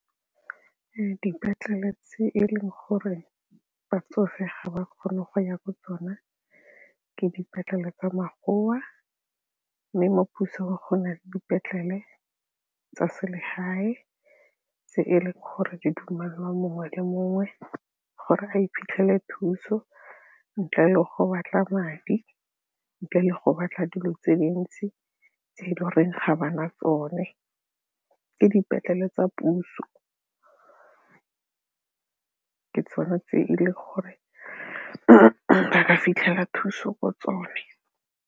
Dipetlele tse e leng gore batsofe ga ba kgone go ya ko tsona ke dipetlele tsa magora mme mo pusong gona le dipetlele tsa selegae tse e leng gore di dumelwa mongwe le mongwe gore a iphitlhele thuso ntle le go batla madi ntle le go batla dilo tse dintsi tse di goreng ga ba na tsone ke dipetlele tsa puso, ke tsone tse e leng gore a fitlhela thuso ko tsone.